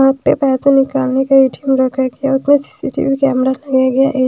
यहाँ पे पैसा निकालने का ए_टी_एम रखा गया है उसमें सी_सी_टी_वी कैमरा लगाया गया है ए--